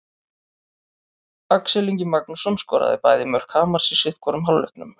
Axel Ingi Magnússon skoraði bæði mörk Hamars í sitthvorum hálfleiknum.